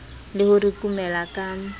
le ho re kumela ka